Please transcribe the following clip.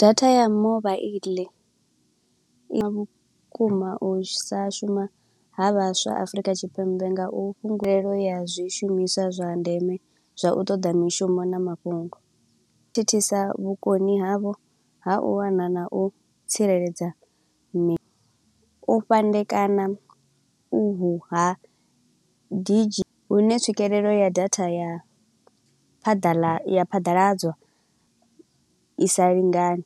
Data ya mobaḽi i vhukuma u sa shuma ha vhaswa Afrika Tshipembe nga u fhungulelo ya zwishumiswa zwa ndeme. Zwa u ṱoḓa mishumo na mafhungo, u thithisa vhukoni havho ha u wana na u tsireledza nṋe. U fhandekana uhu ha didzhi, hune tswikelelo ya data ya phaḓaḽa, ya phaḓaladzwa i sa lingani.